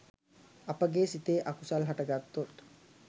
අපගේ සිතේ අකුසල් හටගත්තොත්